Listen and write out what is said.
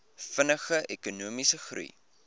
vinniger ekonomiese groei